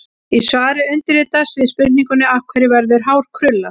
Í svari undirritaðs við spurningunni: Af hverju verður hár krullað?